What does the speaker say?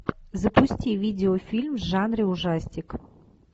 запусти видеофильм в жанре ужастик